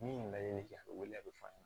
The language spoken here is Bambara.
Ni laɲini kɛ wele a be f'a ɲɛna